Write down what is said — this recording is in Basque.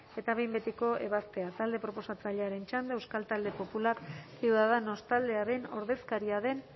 eta behin betiko ebazpena talde proposatzailearen txanda euskal talde popular ciudadanos taldearen ordezkaria den